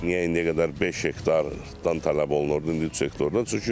Niyə indiyə qədər beş hektardan tələb olunurdu, indi üç hektardan?